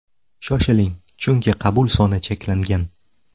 Shoshiling, chunki qabul soni cheklangan!